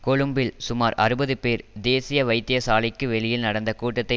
கொழும்பில் சுமார் அறுபது பேர் தேசிய வைத்தியசாலைக்கு வெளியில் நடந்த கூட்டத்தை